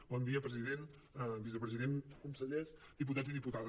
bon dia president vicepresident consellers diputats i dipu·tades